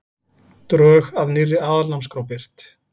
Drög að nýrri aðalnámskrá birt